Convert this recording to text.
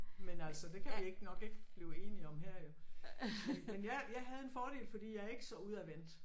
Men altså det kan vi ikke nok ikke blive enige om her jo. Vel men jeg jeg havde en fordel fordi jeg er ikke så udadvendt